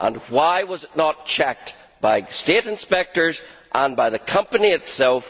Why was it not checked by state inspectors and by the company itself?